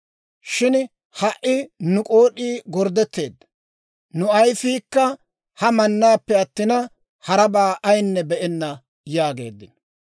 Shin ha"i nu k'ood'ii gorddetteedda; nu ayifiikka ha mannaappe attina, harabaa ayinne be'enna» yaageeddino.